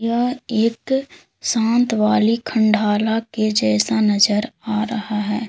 यह एक शांत वाली खंडाला के जैसा नजर आ रहा है।